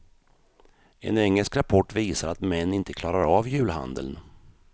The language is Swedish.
En engelsk rapport visar att män inte klarar av julhandeln.